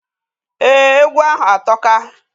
Ee, egwu ahu atoka.